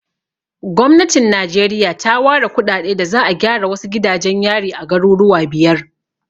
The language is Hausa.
Gwamnatin Najeriya ta ware kuɗaɗe da za'a gyara wasu gidajen yari a garuruwa biyar.